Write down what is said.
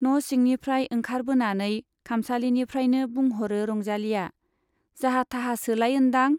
न' सिंनिफ्राइ ओंखारबोनानै खामसालिनिफ्राइनो बुंह'रो रंजालीया, जाहा-थाहासोलाय ओन्दां ?